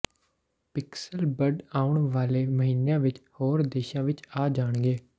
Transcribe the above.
pixel bud ਆਉਣ ਵਾਲੇ ਮਹੀਨਿਆਂ ਵਿੱਚ ਹੋਰ ਦੇਸ਼ਾਂ ਵਿੱਚ ਆ ਜਾਣਗੇ